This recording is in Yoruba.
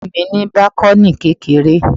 Ilé mi ní bákọ́nì kékeré